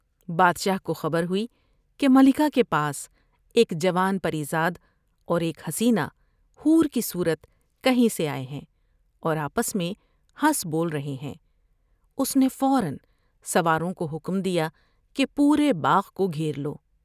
بادشاہ کو خبر ہوئی کہ ملکہ کے پاس ایک جوان پری زاد اور ایک حسینہ حور کی صورت کہیں سے آۓ ہیں اور آپس میں ہنس بول رہے ہیں ۔اس نے فورا سواروں کو حکم دیا کہ پورے باغ کو گھیر لو ۔